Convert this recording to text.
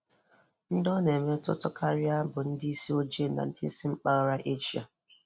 Ndị ọ na-emetụta karịa bụ ndị isi ojii na ndị si mpaghara Asia.